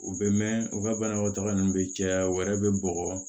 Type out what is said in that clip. U bɛ mɛn u ka banabaatɔ ninnu bɛ caya o wɛrɛ bɛ bɔgɔ